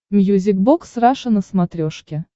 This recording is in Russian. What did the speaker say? мьюзик бокс раша на смотрешке